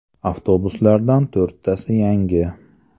Avtobuslardan to‘rttasi yangi.